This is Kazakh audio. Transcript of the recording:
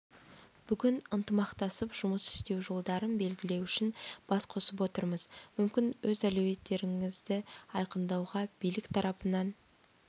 бүгін ынтымақтасып жұмыс істеу жолдарын белгілеу үшін бас қосып отырмыз мүмкін өз әлеуеттеріңізді айқындауға билік тарапынан